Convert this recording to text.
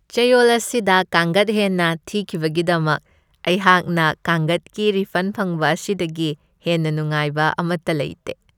ꯆꯌꯣꯜ ꯑꯁꯤꯗ ꯀꯥꯡꯒꯠ ꯍꯦꯟꯅ ꯊꯤꯈꯤꯕꯒꯤꯗꯃꯛ ꯑꯩꯍꯥꯛꯅ ꯀꯥꯡꯒꯠꯀꯤ ꯔꯤꯐꯟ ꯐꯪꯕ ꯑꯁꯤꯗꯒꯤ ꯍꯦꯟꯅ ꯅꯨꯡꯉꯥꯏꯕ ꯑꯃꯠꯇ ꯂꯩꯇꯦ ꯫